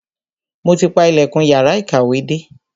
Mo ti pa ilẹ̀kùn yàrá ìkàwé dé.